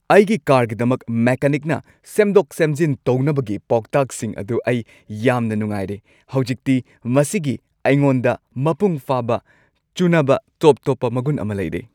ꯑꯩꯒꯤ ꯀꯥꯔꯒꯤꯗꯃꯛ ꯃꯦꯀꯥꯅꯤꯛꯅ ꯁꯦꯝꯗꯣꯛ-ꯁꯦꯝꯖꯤꯟ ꯇꯧꯅꯕꯒꯤ ꯄꯥꯎꯇꯥꯛꯁꯤꯡ ꯑꯗꯨ ꯑꯩ ꯌꯥꯝꯅ ꯅꯨꯡꯉꯥꯏꯔꯦ꯫ ꯍꯧꯖꯤꯛꯇꯤ ꯃꯁꯤꯒꯤ ꯑꯩꯉꯣꯟꯗ ꯃꯄꯨꯡꯐꯥꯕ ꯆꯨꯅꯕ ꯇꯣꯞ-ꯇꯣꯞꯄ ꯃꯒꯨꯟ ꯑꯃ ꯂꯩꯔꯦ꯫